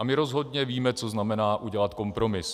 A my rozhodně víme, co znamená udělat kompromis.